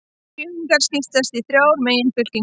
Gyðingar skipast í þrjár meginfylkingar.